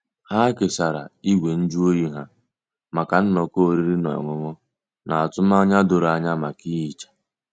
Ha kesara igwe nju oyi ha maka nnọkọ oriri na ọṅụṅụ, na atụmanya doro anya maka ihicha.